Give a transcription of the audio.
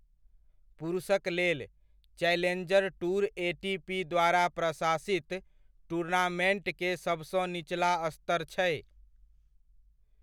पुरुषक लेल, challenger tour ATP द्वारा प्रशासित टूर्नामेंट के सबसँ निचला स्तर छै।